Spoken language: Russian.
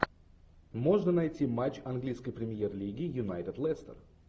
можно найти матч английской премьер лиги юнайтед лестер